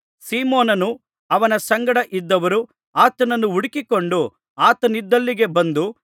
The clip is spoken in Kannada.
ಸೀಮೋನನೂ ಅವನ ಸಂಗಡ ಇದ್ದವರೂ ಆತನನ್ನು ಹುಡುಕಿಕೊಂಡು ಆತನಿದ್ದಲ್ಲಿಗೆ ಬಂದು